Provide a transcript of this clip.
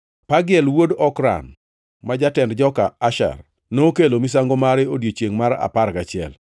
Pagiel wuod Okran, ma jatend joka Asher, nokelo misango mare odiechiengʼ mar apar gachiel.